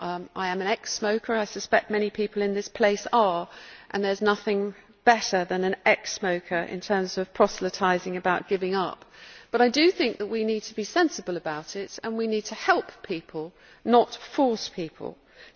I am an ex smoker. I suspect many people in this place are and there is nothing better than an ex smoker in terms of proselytising about giving up, but I do think that we need to be sensible about it and we need to help people, not force them.